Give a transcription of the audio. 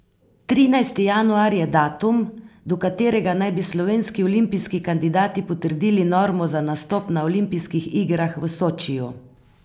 Trinajsti januar je datum, do katerega naj bi slovenski olimpijski kandidati potrdili normo za nastop na olimpijskih igrah v Sočiju.